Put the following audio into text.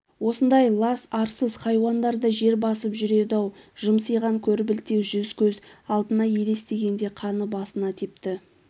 осындай лас арсыз хайуандар да жер басып жүреді-ау жымсиған көрбілте жүз көз алдына елестегенде қаны басына тепті